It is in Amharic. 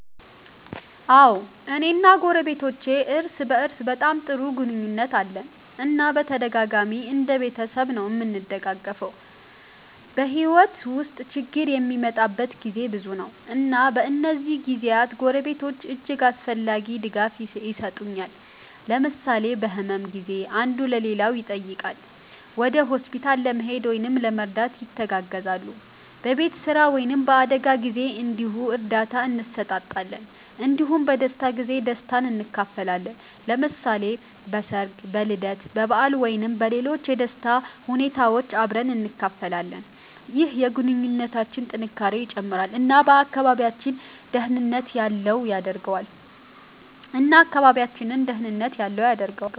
አዎ፣ እኔ እና ጎረቤቶቼ እርስ በእርስ በጣም ጥሩ ግንኙነት አለን እና በተደጋጋሚ እንደ ቤተሰብ ነዉ እምንደጋገፈዉ። በሕይወት ውስጥ ችግር የሚመጣበት ጊዜ ብዙ ነው፣ እና በእነዚህ ጊዜያት ጎረቤቶች እጅግ አስፈላጊ ድጋፍ የሰጡኛል። ለምሳሌ በህመም ጊዜ አንዱ ሌላውን ይጠይቃል፣ ወደ ሆስፒታል ለመሄድ ወይም ለመርዳት ይተጋገዛሉ። በቤት ስራ ወይም በአደጋ ጊዜ እንዲሁ እርዳታ እንሰጣጣለን እንዲሁም በደስታ ጊዜ ደስታን እንካፈላለን። ለምሳሌ በሠርግ፣ በልደት በዓል ወይም በሌሎች የደስታ ሁኔታዎች አብረን እንካፈላለን። ይህ የግንኙነታችንን ጥንካሬ ይጨምራል እና አካባቢያችንን ደህንነት ያለው ያደርገዋል።